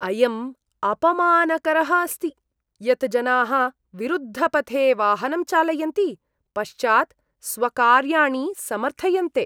अयं अपमानकरः अस्ति यत् जनाः विरुद्धपथे वाहनं चालयन्ति, पश्चात् स्वकार्याणि समर्थयन्ते।